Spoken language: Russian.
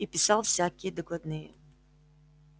и писал всякие докладные